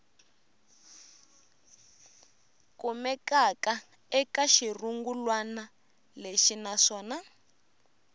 kumekaka eka xirungulwana lexi naswona